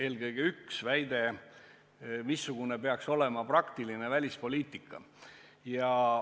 Näiteks väide, missugune peaks olema praktiline välispoliitika.